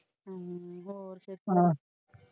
ਹਮ ਹੋਰ ਤੋਂ ਸੁਣਾ।